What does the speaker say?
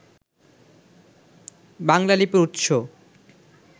বাংলা লিপির উৎস